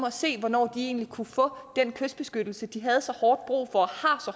at se hvornår de egentlig kunne få den kystbeskyttelse de havde så hårdt brug for